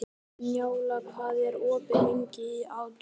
Njála, hvað er opið lengi í ÁTVR?